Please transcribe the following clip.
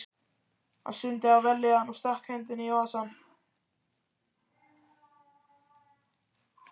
Hann stundi af vellíðan og stakk hendinni í vasann.